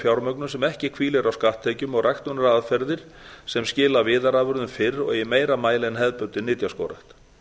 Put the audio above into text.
fjármögnun sem ekki hvílir á skatttekjum og ræktunaraðferðir sem skila viðarafurðum fyrr og í meira mæli en hefðbundin nytjaskógrækt